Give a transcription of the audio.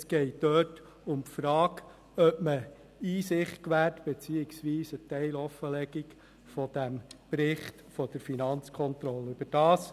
Es geht um die Frage, ob man Einsicht gewährt beziehungsweise ob man den Bericht der Finanzkontrolle teilweise offenlegt.